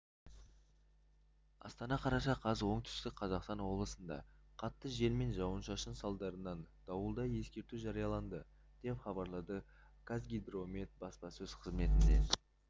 астана қараша қаз оңтүстік қазақстан облысында қатты жел мен жауын-шашын салдарынан дауылды ескерту жарияланды деп хабарлады қазгидромет баспасөз қызметінен